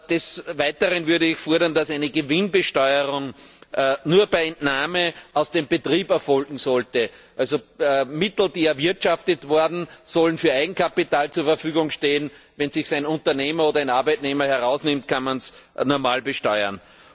Des Weiteren würde ich fordern, dass eine Gewinnbesteuerung nur bei Entnahme aus dem Betrieb erfolgen sollte. Also Mittel, die erwirtschaftet wurden, sollen für Eigenkapital zur Verfügung stehen. Wenn es sich ein Unternehmer oder ein Arbeitnehmer herausnimmt, kann man es normal besteuern.